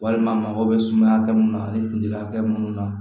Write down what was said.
Walima mago bɛ sumaya hakɛ mun na ani finliya kɛ minnu na